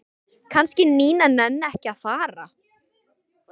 Kannski Nína nenni ekki að fara.